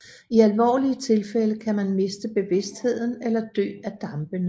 I alvorlige tilfælde kan man miste bevidstheden eller dø af dampene